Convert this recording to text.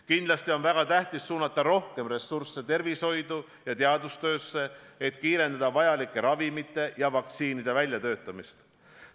Kindlasti on väga tähtis suunata rohkem ressursse tervishoidu ja teadustöösse, et kiirendada vajalike ravimite ja vaktsiinide väljatöötamist.